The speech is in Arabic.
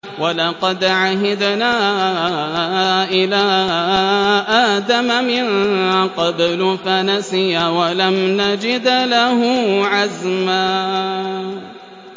وَلَقَدْ عَهِدْنَا إِلَىٰ آدَمَ مِن قَبْلُ فَنَسِيَ وَلَمْ نَجِدْ لَهُ عَزْمًا